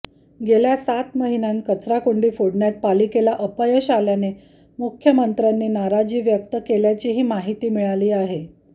गेल्या सात महिन्यांत कचराकोंडी फोडण्यात पालिकेला अपयश आल्याने मुख्यमंत्र्यांनी नाराजी व्यक्त केल्याचीही माहिती मिळाली आहे